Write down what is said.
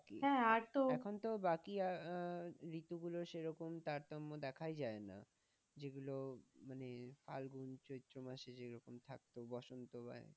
ঋতু গুলোর সে রকম তারতম্য দেখাই যায় না, যেগুলো মানে ফাগুন চৈত্র মাসে যেরকম থাকতো বসন্ত বা,